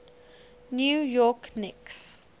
new york knicks